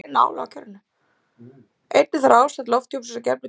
Einnig þarf ástand lofthjúpsins á gefnum tíma að vera þekkt.